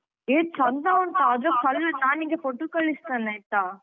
A ಚಂದ ಉಂಟಾ ಅದ್ರ ಹಲ್ ನಾನ್ ನಿಂಗೆ photo ಕಳಿಸ್ತೇನೆ ಆಯ್ತ.